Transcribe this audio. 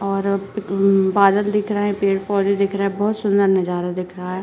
और अब हम्म बादल दिख रहे हैं पेड़-पौधे दिख रहे हैं बहुत सुन्दर नजारा दिख रहा है।